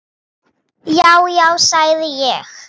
Já, já, sagði ég.